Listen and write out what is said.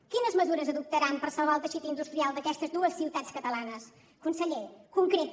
quines mesures adoptaran per salvar el teixit industrial d’aquestes dues ciutats catalanes conseller concreti